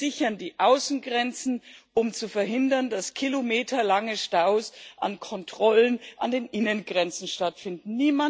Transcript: Wir sichern die Außengrenzen, um zu verhindern, dass kilometerlange Staus durch Kontrollen an den Innengrenzen stattfinden.